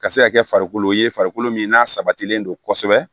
Ka se ka kɛ farikolo ye farikolo min n'a sabatilen don kosɛbɛ